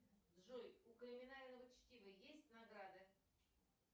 джой у криминального чтива есть награды